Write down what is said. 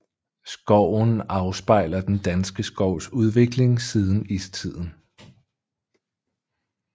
Skoven afspejler den danske skovs udvikling siden istiden